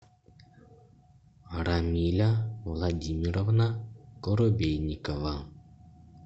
рамиля владимировна коробейникова